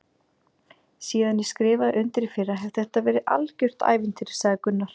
Síðan ég skrifaði undir í fyrra hefur þetta verið algjört ævintýri sagði Gunnar.